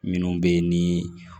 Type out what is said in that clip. Minnu bɛ yen ni